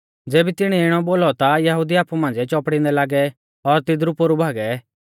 ज़ेबी तिणीऐ इणौ बोलौ ता यहुदी आपु मांझ़िऐ चौपड़ींदै लागै और तिदरु पोरु भागै